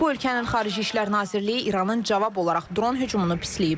Bu ölkənin Xarici İşlər Nazirliyi İranın cavab olaraq dron hücumunu pisləyib.